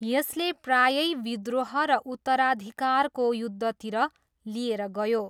यसले प्रायै विद्रोह र उत्तराधिकारको युद्धतिर लिएर गयो।